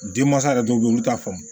Denmansa yɛrɛ dɔw bɛ yen olu t'a faamu